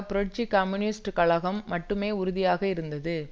புரட்சி கம்யூனிஸ்ட் கழகம் மட்டுமே உறுதியாக இருந்தது